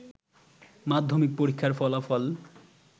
মাধ্যমিক পরীক্ষার ফলাফল